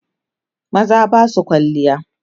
maza Basu kwalliya